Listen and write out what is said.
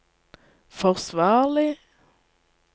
forsvarlig